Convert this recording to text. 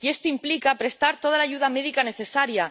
Y esto implica prestar toda la ayuda médica necesaria.